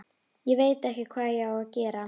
Ég veit ekki hvað ég á að gera